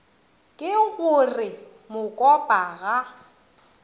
ke go re mokopa ga